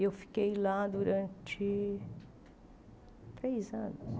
E eu fiquei lá durante três anos.